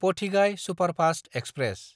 पथिगाय superfast express